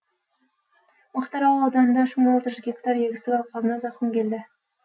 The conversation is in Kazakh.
мақтаарал ауданында үш мың алты жүз гектар егістік алқабына зақым келді